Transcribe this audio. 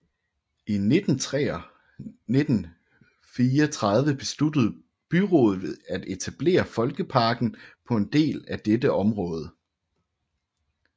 I 1934 besluttede byrådet at etablere Folkeparken på en del af dette område